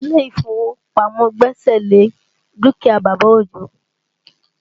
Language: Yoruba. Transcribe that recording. Ilé ìfowópamọ́ gbẹ́sẹ̀ lé dúkìá bàbá Ojo